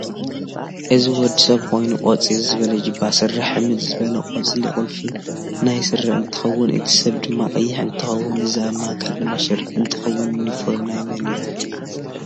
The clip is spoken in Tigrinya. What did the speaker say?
አዚ ወድሰብ ኮይኑ ቆፂሊ ዝበለ ጅባ፣ ስረ ሕምድ ዝበለ ቆፃሊ ቁልፉ ናይ ስረ አንትከውን እቲ ሰብ ድማ ቀይሕ እንትከውን እዚ አብ ማእገር ድማ ሽርጥ እንትከውን ዩንፎረሚ ናይ መን እዩ?